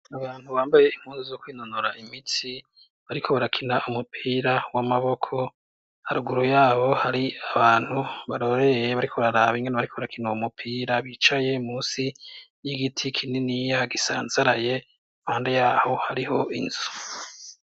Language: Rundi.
Mu bantu bambaye inkunzu zo kwinonora imitsi bariko barakina umupira w'amaboko aruguru yabo hari abantu baroreye bariko bararaba ingana bariko barakina uo umupira bicaye musi y'igiti kinini ya gisanzaraye mande yaho hariho inzu.